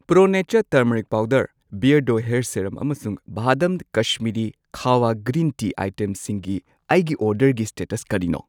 Pro nature turmeric powder, ꯕꯤꯑꯔꯗꯣ hair serum ꯑꯃꯁꯨꯡ Vahdam Kashmiri kahwa green tea ꯑꯥꯏꯇꯦꯝꯁꯤꯡꯒꯤ ꯑꯩꯒꯤ ꯑꯣꯔꯗꯔꯒꯤ ꯁ꯭ꯇꯦꯇꯁ ꯀꯔꯤꯅꯣ?